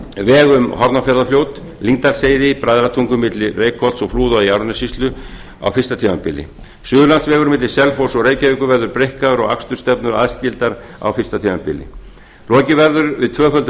veg um hornafjarðarfljót lyngdalsheiði bræðratungu milli reykholts og flúða í árnessýslu á fyrsta tímabili suðurlandsvegur milli selfoss og reykjavíkur verður breikkaður og akstursstefnur aðskildar á fyrsta tímabila lokið verður við tvöföldun